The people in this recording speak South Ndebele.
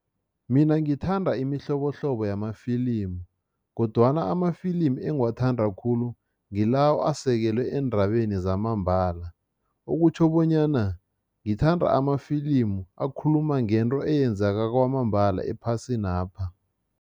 Mina ngithanda imihlobohlobo yamafilimu kodwana amafilimi engiwathanda khulu ngilawo asekelwe eendabeni zamambala, okutjho bonyana ngithanda amafilimu akhuluma ngento eyenzaka kwamambala ephasinapha.